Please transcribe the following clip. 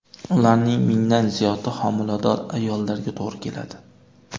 Ularning mingdan ziyodi homilador ayollarga to‘g‘ri keladi.